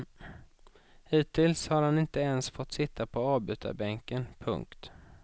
Hittills har han inte ens fått sitta på avbytarbänken. punkt